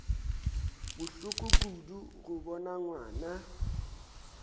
bohloko kudu go bona ngwana